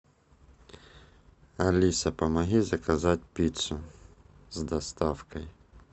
алиса помоги заказать пиццу с доставкой